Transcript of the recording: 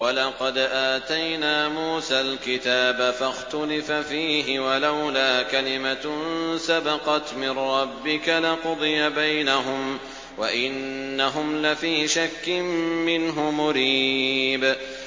وَلَقَدْ آتَيْنَا مُوسَى الْكِتَابَ فَاخْتُلِفَ فِيهِ ۗ وَلَوْلَا كَلِمَةٌ سَبَقَتْ مِن رَّبِّكَ لَقُضِيَ بَيْنَهُمْ ۚ وَإِنَّهُمْ لَفِي شَكٍّ مِّنْهُ مُرِيبٍ